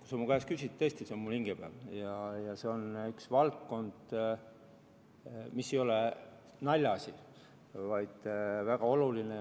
Kui sa mu käest küsid, siis tõesti, see on mul hinge peal ja see on üks valdkond, mis ei ole naljaasi, vaid väga oluline.